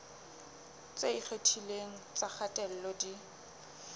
tse ikgethileng tsa kgatello di